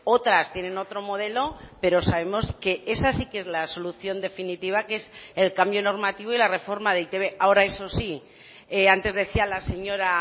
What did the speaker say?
otras tienen otro modelo pero sabemos que esa sí que es la solución definitiva que es el cambio normativo y la reforma de e i te be ahora eso sí antes decía la señora